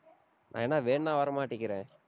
நான் என்ன வேணும்னா வரமாட்டேங்கிறேன்